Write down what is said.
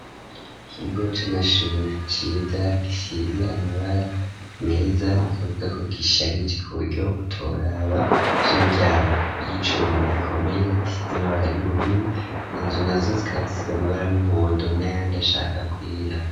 Ikigo c'amashuri ciza gisize amabara meza nukuvuga ko gisharije ku buryo utoraba gifise imiryango y'icuma ikomeye isize amabara y'ubururu inzu nazo zikaba zisize amabara y'umuhondo n'ayandi ashaka kwera.